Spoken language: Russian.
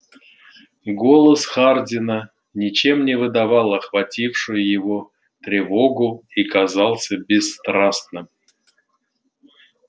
голос хардина ничем не выдавал охватившую его тревогу и казался бесстрастным